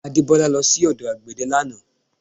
Adebola lọ sí ọdọ àgbẹ̀dẹ̀ lánàá